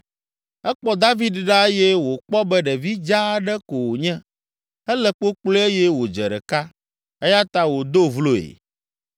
Ekpɔ David ɖa eye wòkpɔ be ɖevi dzaa aɖe ko wònye, ele kpokploe eye wòdze ɖeka, eya ta wòdo vloe.